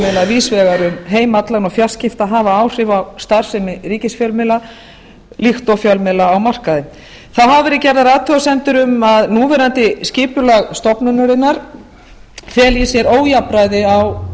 fjölmiðla víðs vegar um heim allan og fjarskipta hafa áhrif á starfsemi ríkisfjölmiðla líkt og fjölmiðla á markaði þá hafa verið gerðar athugasemdir um að núverandi skipulag stofnunarinnar feli í sér ójafnræði á